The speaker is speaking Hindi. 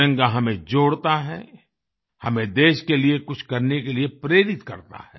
तिरंगा हमें जोड़ता है हमें देश के लिए कुछ करने के लिए प्रेरित करता है